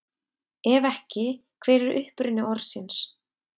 Ef ekki, hver er uppruni orðsins?